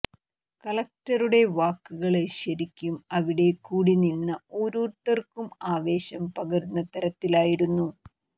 കലക്ടറുടെ വാക്കുകള് ശരിക്കും അവിടെ കൂടി നിന്ന ഓരോരുത്തര്ക്കും ആവേശം പകരുന്ന തരത്തിലായിരുന്നു